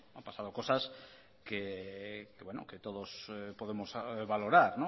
han pasado cosas que todos podemos valorar